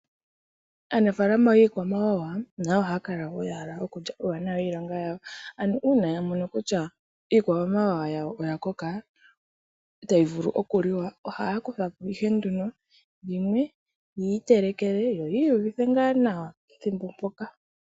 Aanafalama yoondjuhwa ohaya kala wo ya hala okulya uuwanawa wiilonga yawo, an ok uuna ya mono kutya iikwamawawa yawo oya koka, tadhi vulu oku liwa. Ohaya kuthapo yimwe yiitelekele, yo yiiyuvithe nga nawa pethimbo mpoka.